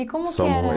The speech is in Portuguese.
E como que era?